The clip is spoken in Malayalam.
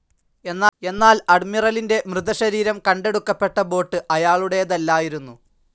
എന്നാൽ അഡ്മിറലിൻ്റെ മൃതശരീരംകണ്ടെടുക്കപ്പെട്ട ബോട്ട്‌ അയാളുടേതല്ലായിരുന്നു.